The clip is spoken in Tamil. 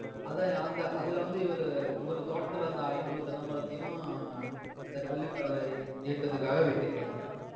அதான்யா, அந்த அதுல வந்து இவரு இவரு தோட்டத்துல இருந்த ஐநூறு தென்னை மரத்தையும் கள்ளுக்கடை இயக்கத்துக்காக வெட்டிருக்காருய்யா.